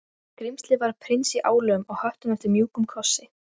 Enn þorði hann ekki að koma upp á hamarinn.